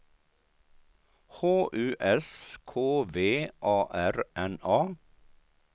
H U S K V A R N A